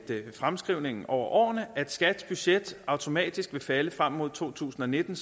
fremskrivningen over årene at skats budget automatisk vil falde frem mod to tusind og nitten